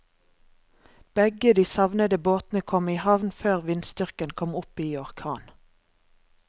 Begge de savnede båtene kom i havn før vindstyrken kom opp i orkan.